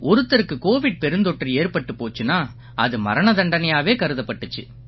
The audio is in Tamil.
ஒருத்தருக்கு கோவிட் பெருந்தொற்று ஏற்பட்டுப் போச்சுன்னா அது மரண தண்டனையாவே கருதப்பட்டிச்சு